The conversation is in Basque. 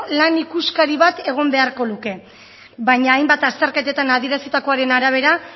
lan ikuskari bat egon beharko luke baina hainbat azterketatan adierazitakoaren arabera